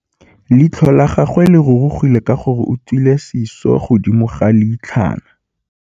Leitlhô la gagwe le rurugile ka gore o tswile sisô fa godimo ga leitlhwana.